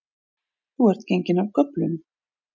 Þú ert genginn af göflunum